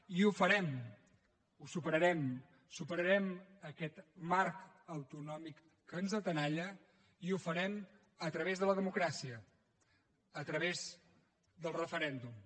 i ho farem ho superarem superarem aquest marc autonòmic que ens tenalla i ho farem a través de la democràcia a través del referèndum